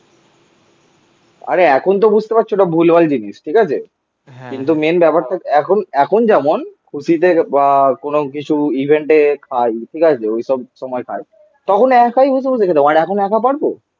আরে এখন তো বুঝতে পারছো ওটা ভুলভাল জিনিস ঠিক আছে কিন্তু মেন ব্যাপারটা এখন এখন যেমন খুশিতে বা কোনো কিছু ইভেন্টে খাই. ঠিক আছে? ওইসব সময় খাই. তখন একাই বসে বসে খেতাম আর এখন একা পারবো